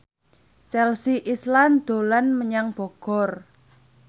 Chelsea Islan dolan menyang Bogor